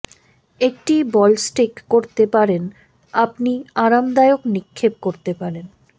একটি ball stick করতে পারেন আপনি আরামদায়ক নিক্ষেপ করতে পারেন